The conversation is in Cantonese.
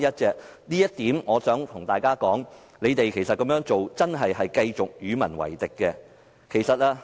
就這一點，我想對大家說，他們這樣做，真的是繼續與民為敵。